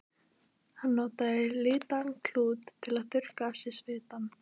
Hann notaði litaðan klút til að þurrka af sér svitann.